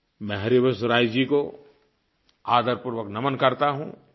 मैं हरिवंशराय जी को आदरपूर्वक नमन करता हूँ